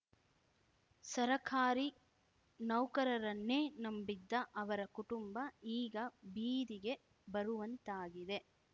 ಸರಕಾರಿ ನೌಕರರನ್ನೇ ನಂಬಿದ್ದ ಅವರ ಕುಟುಂಬ ಈಗ ಬೀದಿಗೆ ಬರುವಂತಾಗಿದೆ